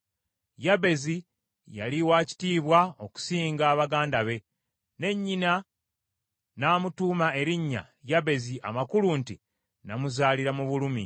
Yabezi yali wa kitiibwa okusinga baganda be, ne nnyina n’amutuuma erinnya Yabezi amakulu nti, “Namuzaalira mu bulumi.”